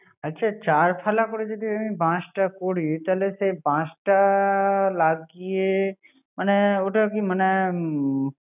আচ্ছা চার ফালা করে বাশটা করি তাহলে বাশটা লাগিয়ে মানে ওটা কি মানে